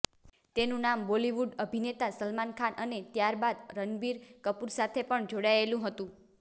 તેનું નામ બોલિવૂડ અભિનેતા સલમાન ખાન અને ત્યારબાદ રણબીર કપૂર સાથે પણ જોડાયેલું હતું